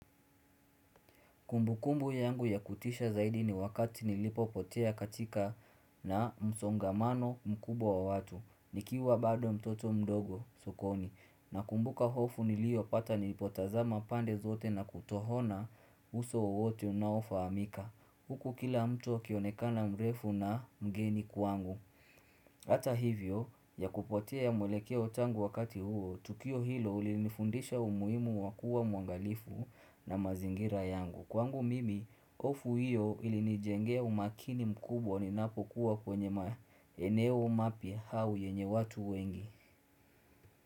Kumbukumbu yangu ya kutisha zaidi ni wakati nilipopotea katika na msongamano mkubwa wa watu, nikiwa bado mtoto mdogo sokoni, nakumbuka hofu nilio pata nilipotazama pande zote na kutoona uso wowote unaofahamika. Huku kila mtu akionekana mrefu na mgeni kwangu. Hata hivyo ya kupotea mwelekeo tangu wakati huo, tukio hilo lilinifundisha umuhimu wakuwa mwangalifu na mazingira yangu. Kwangu mimi, hofu hiyo ili nijengea umakini mkubwa ninapokuwa kwenye maeneo mapya au yenye watu wengi.